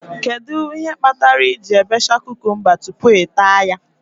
Kedụ ihe kpatara I ji ebecha kukumba tupu ị taa ya?